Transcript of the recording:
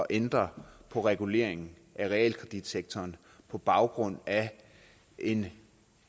ændre på reguleringen af realkreditsektoren på baggrund af en